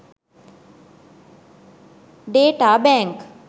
data bank